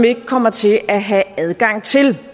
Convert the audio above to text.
ikke kommer til at have adgang til